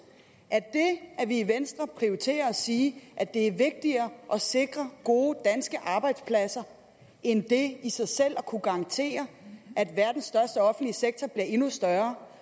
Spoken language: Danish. at at vi i venstre prioriterer at sige at det er vigtigere at sikre gode danske arbejdspladser end det i sig selv er at kunne garantere at verdens største offentlige sektor bliver endnu større